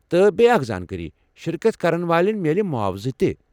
تہٕ بیٚیہ اکھ زانٛکٲری ، شرکت كرن والین میلہِ معاوضہٕ تہِ ۔